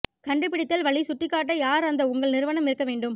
கண்டுபிடித்தல் வழி சுட்டிக்காட்ட யார் அந்த உங்கள் நிறுவனம் இருக்க வேண்டும்